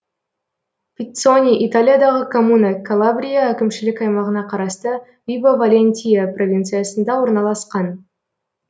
пиццони италиядағы коммуна калабрия әкімшілік аймағына қарасты вибо валентия провинциясында орналасқан